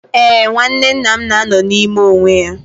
Ee, nwanne nna m na-anọ n'ime onwe ya